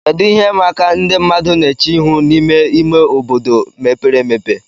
Kedu ihe ịma aka ndị mmadụ na-eche ihu n'ime ime obodo mepere emepe